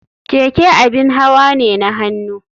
Keke abin hawa ne na hannu.